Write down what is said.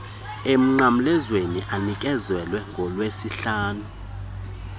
emnqamlezweni anikezelwa ngolwesihlanu